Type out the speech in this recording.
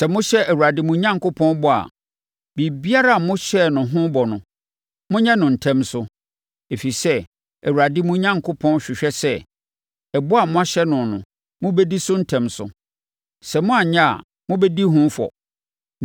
Sɛ mohyɛ Awurade mo Onyankopɔn bɔ a, biribiara a mohyɛɛ no ho bɔ no, monyɛ no ntɛm so. Ɛfiri sɛ, Awurade, mo Onyankopɔn hwehwɛ sɛ, ɛbɔ a moahyɛ no no, mobɛdi so ntɛm so. Sɛ moanyɛ a, mobɛdi ho fɔ.